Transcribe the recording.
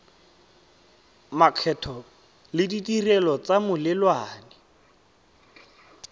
makgetho le ditirelo tsa melelwane